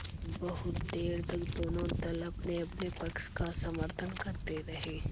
बहुत देर तक दोनों दल अपनेअपने पक्ष का समर्थन करते रहे